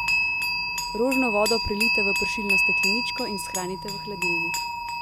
Rožno vodo prelijte v pršilno stekleničko in shranite v hladilnik.